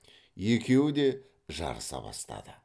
екеуі де жарыса бастады